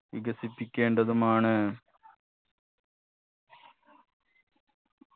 വികസിപ്പിക്കേണ്ടതുമാണ്